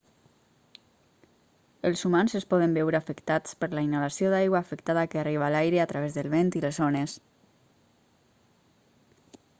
els humans es poden veure afectats per la inhalació d'aigua afectada que arriba a l'aire a través del vent i les ones